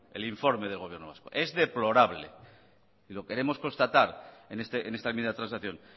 el informe del gobierno vasco es y lo queremos constatar en esta enmienda transacción